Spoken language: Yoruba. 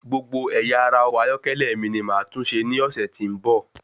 Gbogbo ẹ̀yà ara ọkọ̀ ayọ́kẹ́lẹ́ mi ní máa túnṣe ní ọ̀sẹ̀ tí ń bọ̀.